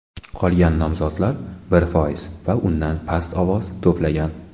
Qolgan nomzodlar bir foiz va undan past ovoz to‘plagan.